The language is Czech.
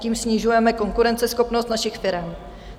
Tím snižujeme konkurenceschopnost našich firem.